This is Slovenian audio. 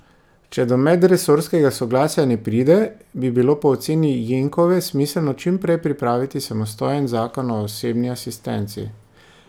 Če do medresorskega soglasja ne pride, bi bilo po oceni Jenkove smiselno čim prej pripraviti samostojen zakon o osebni asistenci.